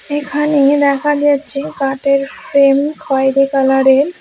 এখানে দেখা যাচ্ছে কাঠের ফ্রেম খয়েরি কালারের।